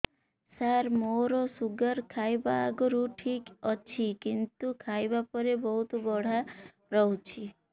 ସାର ମୋର ଶୁଗାର ଖାଇବା ଆଗରୁ ଠିକ ଅଛି କିନ୍ତୁ ଖାଇବା ପରେ ବହୁତ ବଢ଼ା ରହୁଛି